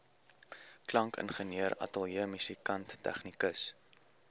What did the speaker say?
klankingenieur ateljeemusikant tegnikus